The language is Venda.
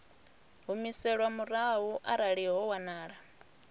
humiselwa murahu arali ho wanala